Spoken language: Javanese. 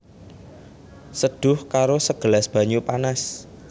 Seduh karo sagelas banyu panas